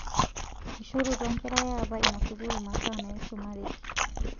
Eishorutua nkera ya apa ina sukuul masaa naisumareki